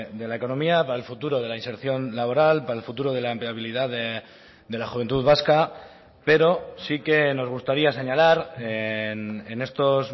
de la economía para el futuro de la inserción laboral para el futuro de la empleabilidad de la juventud vasca pero sí que nos gustaría señalar en estos